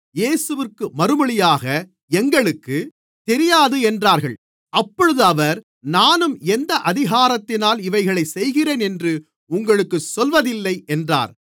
இயேசுவிற்கு மறுமொழியாக எங்களுக்குத் தெரியாது என்றார்கள் அப்பொழுது அவர் நானும் எந்த அதிகாரத்தினால் இவைகளைச் செய்கிறேனென்று உங்களுக்குச் சொல்வதில்லை என்றார்